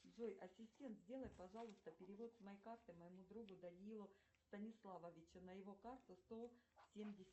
джой ассистент сделай пожалуйста перевод с моей карты моему другу даниилу станиславовичу на его карту сто семьдесят